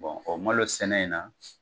o malosɛnɛ in na